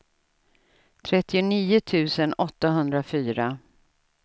trettionio tusen åttahundrafyra